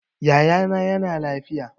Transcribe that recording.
Yaya na yana lafiya